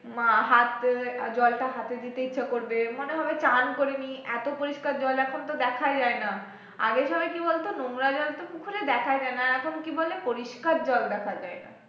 হাত জলটা হাতে দিতে ইচ্ছা করবে মনে হবে চান করে নিই এত পরিষ্কার জল এখন তো দেখাই যায় না আগে সবাই কি বলতো নোংরা জল তো পুকুরে দেখাই যায় না আর এখন কি বলে পরিষ্কার জল দেখা যায় না